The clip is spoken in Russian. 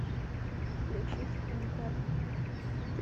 включить интер